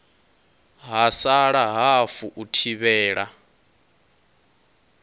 ha sala hafu u thivhela